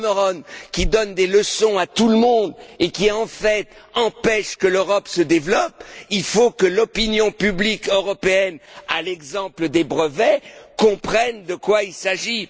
Cameron, qui donne des leçons à tout le monde, et qui, en fait, empêche l'Europe de se développer, il faut que l'opinion publique européenne, à l'exemple des brevets, comprenne de quoi il s'agit.